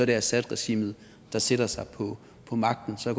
det assadregimet der sætter sig på magten så